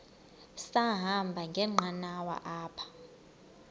sahamba ngenqanawa apha